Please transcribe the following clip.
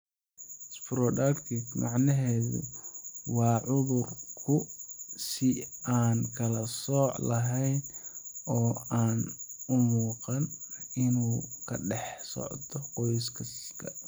Sporadic macnaheedu waa cudurku si aan kala sooc lahayn oo aan u muuqan in uu ka dhex socdo qoysaska.